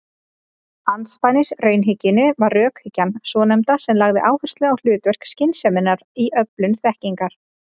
Andspænis raunhyggjunni var rökhyggjan svonefnda sem lagði áherslu á hlutverk skynseminnar í öflun þekkingar.